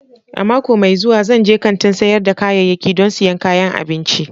A mako mai zuwa, zan je kantin sayar da ƙayayyaki don siyan kayan abinci.